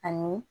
Ani